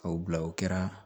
K'o bila o kɛra